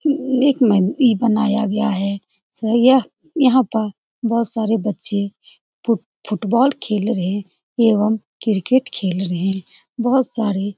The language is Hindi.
यह एक बनाया गया है सुबह यहाँ पर बहुत सारे बच्चे फुट फुटबॉल खेल रहे एवं क्रिकेट खेल रहे हैं बहुत सारे --